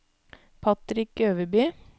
Patrick Øverby